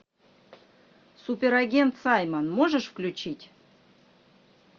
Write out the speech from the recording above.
суперагент саймон можешь включить